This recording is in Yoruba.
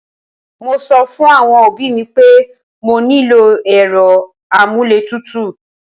Mo sọ fún àwọn òbí mi pé mo nílò èrò amuletutu